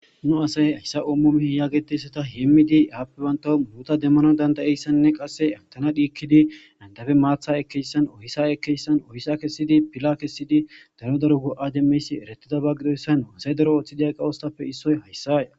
nu asay hayssa ommom yaagetessata heemmidi haappe banta muuta demmana dandayeyssanne qasse atana dhiikkidi dandabe maatha ekeyssan ohisa ekeyssan ohisa kessidi pila kessidi daro daro wo7a demmeysi eretida ba gidoyssan aasay dero ooththideya qawoostappe issoy hayssaya